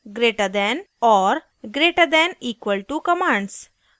greater than greater than और greater than equal to greater than equal to commands